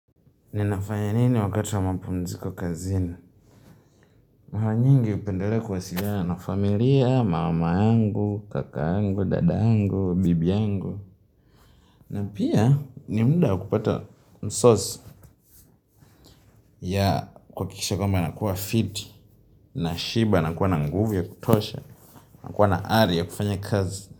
Ninafanya nini wakati wa mapumziko kazini? Mara nyingi hupendelea kuwasiliana na familia, mama yangu, kaka yangu, dada yangu, bibi yangu. Na pia ni muda wa kupata msos ya kuakikisha kwamba nakuwa fit, nashiba na kuwa nguvu ya kutosha, na kuwa na ari ya kufanya kazi.